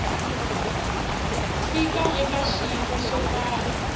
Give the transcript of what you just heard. fika eka xiyimo xo karhi